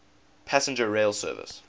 passenger rail service